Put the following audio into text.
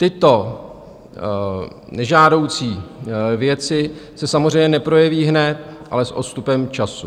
Tyto nežádoucí věci se samozřejmě neprojeví hned, ale s odstupem času.